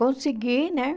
Consegui, né?